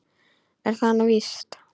Er það nú víst ?